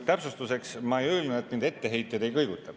Täpsustuseks: ma ei öelnud, et mind etteheited ei kõiguta.